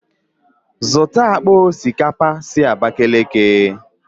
Zụta akpa osikapa si Abakiliki!